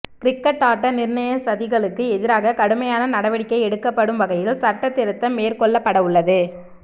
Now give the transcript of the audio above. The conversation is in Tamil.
கிரிக்கட் ஆட்ட நிர்ணய சதிகளுக்கு எதிராக கடுமையான நடவடிக்கை எடுக்கப்படும் வகையில் சட்டத் திருத்தம் மேற்கொள்ளப்படவுள்ளது